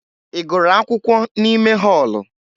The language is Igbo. Ị gụrụ akwụkwọ n'ime họọlụ?